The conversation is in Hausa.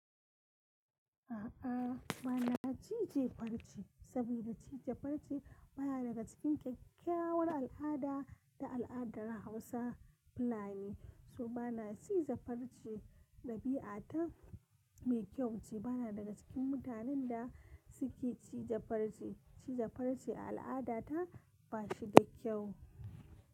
A'a, bana cije farce saboda cije farce baya daga cikin kyakkyawar al'ada da al'adar Hausa fulani. So bana ciza farce, dabi'a ta mai kyau ce. Bana daga cikin mutanen da suke cije farce. Cije farce al'ada ta ba shi da kyau.